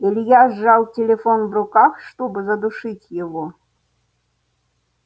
илья сжал телефон в руках чтобы задушить его